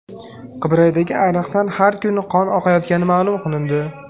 Qibraydagi ariqdan har kuni qon oqayotgani ma’lum qilindi.